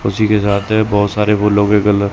उसी के साथ बहोत सारे फूलों के गल--